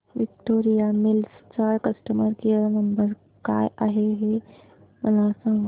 Victoria Mills चा customer care number काय आहे हे मला सांगा